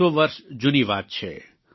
એકસો વર્ષ જૂની વાત છે